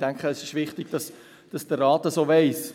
ich denke, es ist wichtig, dass der Rat dies auch weiss.